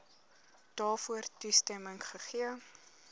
daarvoor toestemming gegee